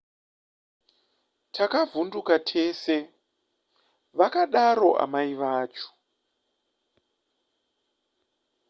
takavhunduka tese vakadaro amai vacho